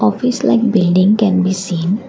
office like building can be seen.